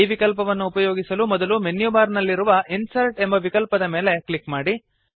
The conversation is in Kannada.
ಈ ವಿಕಲ್ಪವನ್ನು ಉಪಯೋಗಿಸಲು ಮೊದಲು ಮೆನ್ಯು ಬಾರ್ ನಲ್ಲಿರುವ ಇನ್ಸರ್ಟ್ ಎಂಬ ವಿಕಲ್ಪದ ಮೇಲೆ ಕ್ಲಿಕ್ ಮಾಡಿ